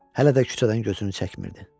Hələ də küçədən gözünü çəkmirdi.